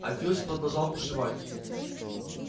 а филч продолжал бушевать